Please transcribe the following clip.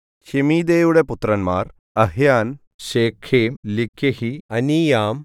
ശെമീദയുടെ പുത്രന്മാർ അഹ്യാൻ ശേഖെം ലിക്കെഹി അനീയാം